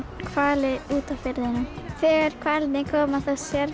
hvali úti á firðinum þegar hvalirnir koma þá sér